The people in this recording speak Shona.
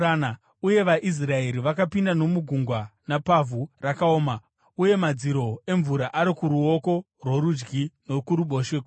uye vaIsraeri vakapinda nomugungwa napavhu rakaoma uye madziro emvura ari kuruoko rworudyi nokuruboshwe kwavo.